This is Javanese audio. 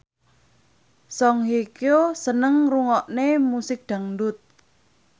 Song Hye Kyo seneng ngrungokne musik dangdut